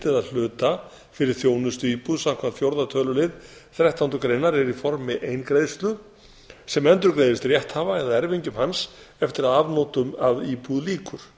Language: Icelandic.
eða hluta fyrir þjónustuíbúð samkvæmt fjórða tölulið þrettándu greinar er í formi eingreiðslu sem endurgreiðist rétthafa eða erfingjum hans eftir að afnotum af íbúð lýkur